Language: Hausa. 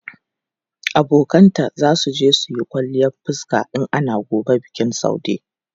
Abokanta za su je yin kwalliyan fuska in ana gobe bikin Saude.